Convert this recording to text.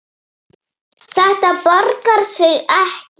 Þetta borgar sig ekki.